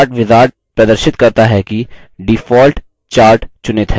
chart wizard प्रदर्शित करता है कि default chart चुनित है